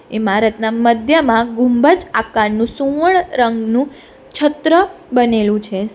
ઈમારતના મધ્યમાં ગુંબજ આકારનું સુવર્ણ રંગનું છત્ર બનેલું છે સ --